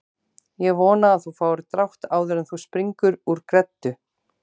Ég vona að þú fáir drátt áður en þú springur úr greddu